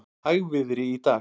Hægviðri í dag